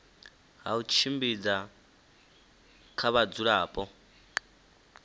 ha u tshimbidza kha vhadzulapo